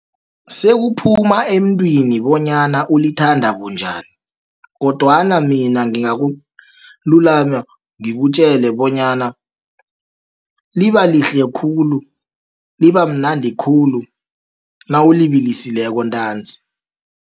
Sekuphuma emntwini bonyana ulithanda bunjani, kodwana mina ngingakululama ngikutjele bonyana libalihle khulu, libamnandi khulu, nawulibilisileko ntanzi.